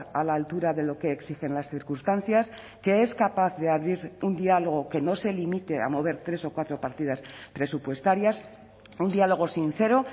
a la altura de lo que exigen las circunstancias que es capaz de abrir un diálogo que no se limite a mover tres o cuatro partidas presupuestarias un diálogo sincero